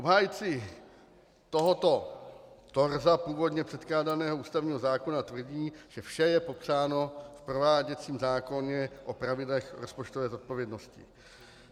Obhájci tohoto torza původně předkládaného ústavního zákona tvrdí, že vše je popsáno v prováděcím zákoně o pravidlech rozpočtové zodpovědnosti.